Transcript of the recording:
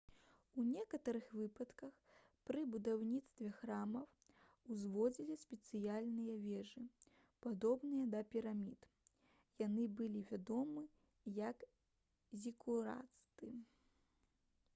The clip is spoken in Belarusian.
у некаторых выпадках пры будаўніцтве храмаў узводзілі спецыяльныя вежы падобныя да пірамід яны былі вядомы як зікураты